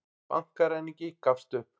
Bankaræningi gafst upp